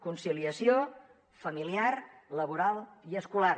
conciliació familiar laboral i escolar